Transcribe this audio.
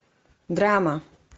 драма